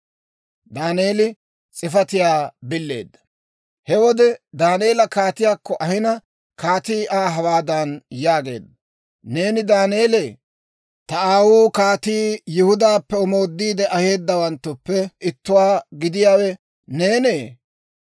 He wode Daaneela kaatiyaakko ahina, kaatii Aa hawaadan yaageedda; «Neeni Daaneelee? Ta aawuu kaatii Yihudaappe omoodiide aheedawanttuppe ittuwaa giyaawe neenee?